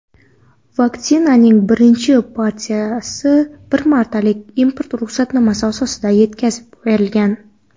Vaksinaning birinchi partiyasi bir martalik import ruxsatnomasi asosida yetkazib berilgan.